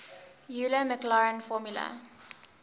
euler maclaurin formula